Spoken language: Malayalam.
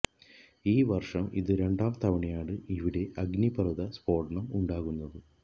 ഈ വര്ഷം ഇത് രണ്ടാം തവണയാണ് ഇവിടെ അഗ്നിപര്വത സ്ഫോടനം ഉണ്ടാകുന്നത്